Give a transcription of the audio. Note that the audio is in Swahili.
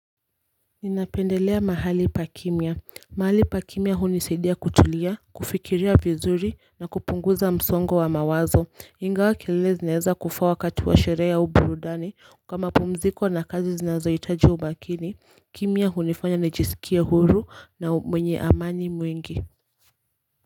Ninapendelea mahali pa kimya, mahali pa kimya hunisaidia kutulia, kufikiria vizuri na kupunguza msongo wa mawazo, ingawa kilele zinaeza kufaa wakati wa sherehe au burudani kwa mapumziko na kazi zinazohitaji umakini, kimya hunifanya nijisikie huru na mwenye amani mwengi.